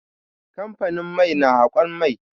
Kamfanin mai na haƙon mai.